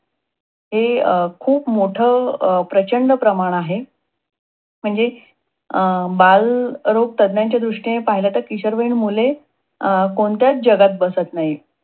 हे अं खूप मोठ प्रचंड प्रमाण आहे. म्हणजे अं बालरोग तज्ञांच्या दृष्टीने पाहिलं तर किशोर वयीन मुले कोणत्याच जगात बसत नाही.